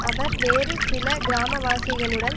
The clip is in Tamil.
அவர் வேறு சில கிராமவாசிகளுடன்